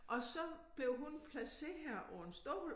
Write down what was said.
Og så blev hun placeret på en stol